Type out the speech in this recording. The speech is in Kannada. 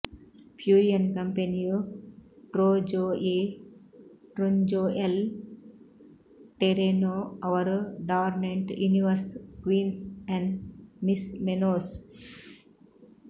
ಫ್ಯೂರಿಯನ್ ಕಂಪೆನಿಯು ಟ್ರೋಜೊ ಎ ಟ್ರೆಂಜೊ ಎಲ್ ಟೆರೆನೊ ಅವರು ಡಾರ್ನೆಂಟ್ ಯುನಿವರ್ಸ್ ಕ್ವಿನ್ಸ್ ಏನ್ ಮಿಸ್ ಮೆನೊಸ್